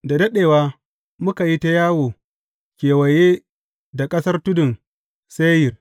Da daɗewa muka yi ta yawo kewaye da ƙasar tudun Seyir.